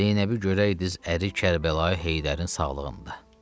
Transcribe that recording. Zeynəbi görəydiz əri Kərbəlayı Heydərin sağlığında.